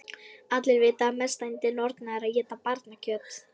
Allir vita að mesta yndi norna er að éta barnakjöt.